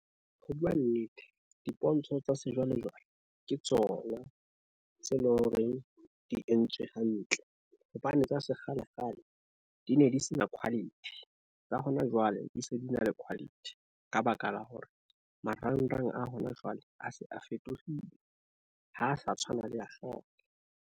Ho bua nnete, dipontsho tsa sejwalejwale ke tsona tse loreng di entswe hantle, hobane tsa sekgalekgale di ne di se na quality. Tsa hona jwale di se di na le quality ka baka la hore, marangrang a hona jwale a se a fetohile, ha sa tshwana le a kgale.